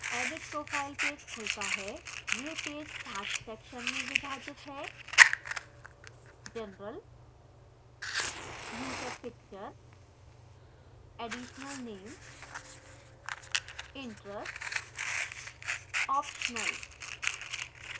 edit profile page खुलता है